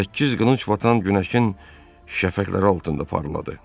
Səkkiz qılınc batan günəşin şəfəqləri altında parladı.